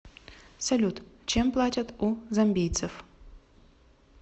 салют чем платят у замбийцев